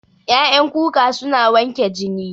Ƴaƴan kuka suna wanke jini